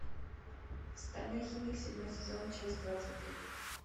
стальной химик седьмой сезон часть двадцать три